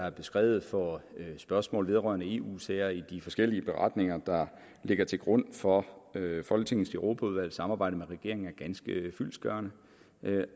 er beskrevet for spørgsmål vedrørende eu sager i de forskellige beretninger der ligger til grund for folketingets europaudvalgs samarbejde med regeringen er ganske fyldestgørende